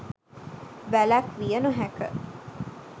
වැලැක්විය නොහැක.